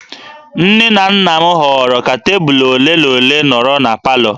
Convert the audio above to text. Nne na nna m họọrọ ka tebụl ole na ole nọrọ na palọ